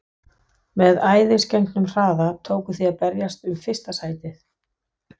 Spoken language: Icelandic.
Með æðisgengnum hraða tókuð þið að berjast um fyrsta sætið.